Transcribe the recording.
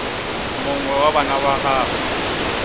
mongwe wa bana ba gagwe